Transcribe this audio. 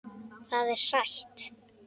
Það er sætt.